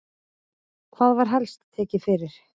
Hvað var helst tekið fyrir?